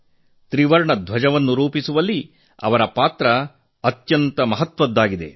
ತ್ರಿವರ್ಣ ಧ್ವಜವನ್ನು ರೂಪಿಸುವಲ್ಲಿ ಅವರ ಪಾತ್ರ ಅತ್ಯಂತ ಮಹತ್ವದ್ದಾಗಿದೆ